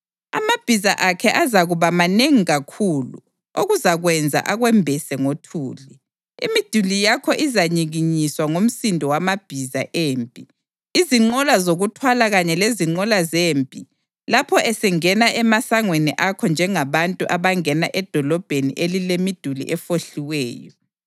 Amabhiza akhe azakuba manengi kakhulu okuzakwenza akwembese ngothuli. Imiduli yakho izanyikinyiswa ngumsindo wamabhiza empi, izinqola zokuthwala kanye lezinqola zempi lapho esengena emasangweni akho njengabantu abangena edolobheni elilemiduli efohliweyo.